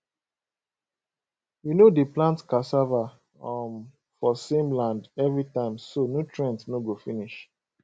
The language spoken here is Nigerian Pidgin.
we no dey plant cassava um for same land every time so nutrient no go finish